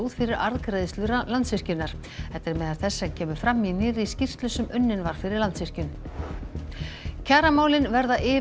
fyrir arðgreiðslur Landsvirkjunar þetta er meðal þess sem kemur fram í nýrri skýrslu sem unnin var fyrir Landsvirkjun kjaramálin verða yfir